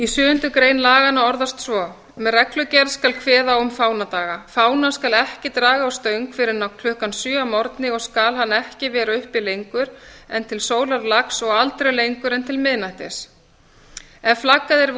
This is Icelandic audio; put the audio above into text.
sjöundu greinar laganna orðast svo með reglugerð skal kveða á um fánadaga fána skal ekki draga á stöng fyrr en klukkan sjö að morgni og skal hann ekki vera uppi lengur en til sólarlags og aldrei lengur en til miðnættis ef flaggað